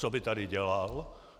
Co by tady dělal?